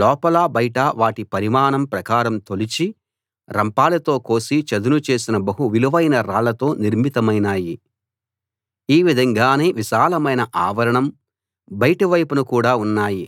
లోపలా బయటా వాటి పరిమాణం ప్రకారం తొలిచి రంపాలతో కోసి చదును చేసిన బహు విలువైన రాళ్లతో నిర్మితమైనాయి ఈ విధంగానే విశాలమైన ఆవరణం బయటి వైపున కూడా ఉన్నాయి